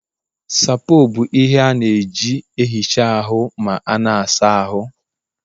Sapoo bụ ihe a na-eji na-ehicha ahụ ma a na-asa ahụ